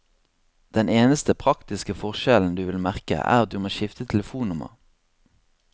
Den eneste praktiske forskjellen du vil merke, er at du må skifte telefonnummer.